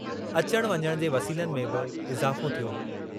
अचण वञण जे वसीलनि में बि इज़ाफ़ो थियो हो।